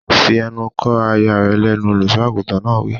Fi ẹnu kò aya rẹ lẹ́nu! Olùsọ àgùntàn náà wí.